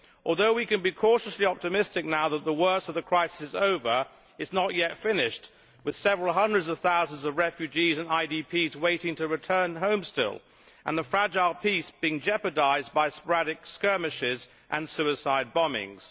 Although we can be cautiously optimistic now that the worst of the crisis is over, it is not yet finished, with several hundreds of thousands of refugees and IDPs still waiting to return home and the fragile peace being jeopardised by sporadic skirmishes and suicide bombings.